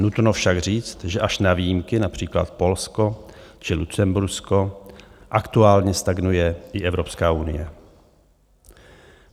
Nutno však říct, že až na výjimky, například Polsko či Lucembursko, aktuálně stagnuje i Evropská unie.